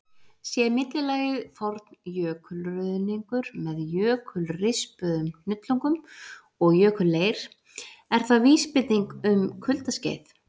Sé millilagið forn jökulruðningur, með jökulrispuðum hnullungum og jökulleir, er það vísbending um kuldaskeið.